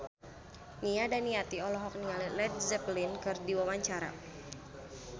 Nia Daniati olohok ningali Led Zeppelin keur diwawancara